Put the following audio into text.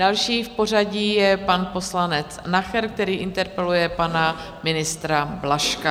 Další v pořadí je pan poslanec Nacher, který interpeluje pana ministra Blažka.